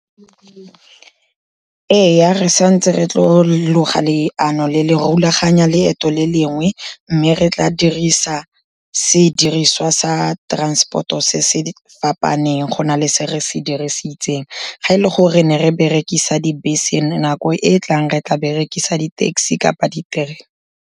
Ee, re santse re tlo loga leano le le rulaganya leeto le lengwe, mme re tla dirisa sediriswa sa transport-o se se fapaneng go na le se re se dirisitseng, ga e le gore ne re berekisa dibese nako e e tlang re tla berekisa di-taxi kapa diterena.